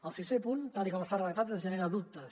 el sisè punt tal com està redactat ens genera dubtes